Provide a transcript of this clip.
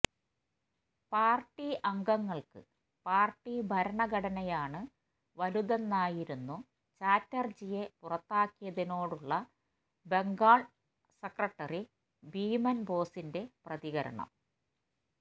party അംഗങ്ങള്ക്ക് party ഭരണഘടനയാണ് വലുതെന്നായിരുന്നു ചാറ്റര്ജിയെ പുറത്താക്കിയതിനോടുള്ള ബെംഗാള് സെക്രട്ടറി ബിമന് ബോസിന്റ പ്രതികരണം